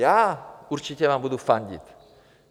Já určitě vám budu fandit.